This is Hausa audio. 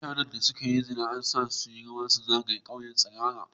Mutanen da an kama suna yin zina, an gaya masu su yi rawa su zagaya ƙauyen tsirara.